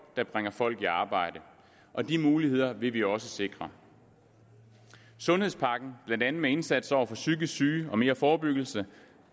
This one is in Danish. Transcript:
der bringer folk i arbejde og de muligheder vil vi også sikre sundhedspakken blandt andet med indsats over for psykisk syge og mere forebyggelse